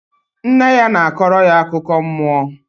Nne ya na-akọrọ ya akụkọ mmụọ